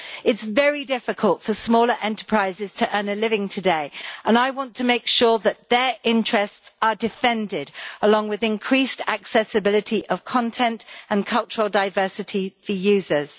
It is very difficult for smaller enterprises to earn a living today and I want to make sure that their interests are defended along with increased accessibility of content and cultural diversity for users.